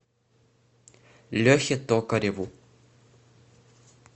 лехе токареву